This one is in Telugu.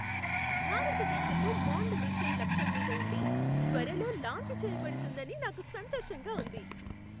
భారతదేశపు మాన్డ్ మిషన్ లక్ష్యం మీద ఉండి, త్వరలో లాంచ్ చేయబడుతుందని నాకు సంతోషంగా ఉంది.